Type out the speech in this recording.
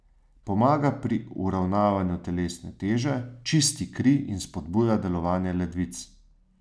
Pomaga pri uravnavanju telesne teže, čisti kri in spodbuja delovanje ledvic.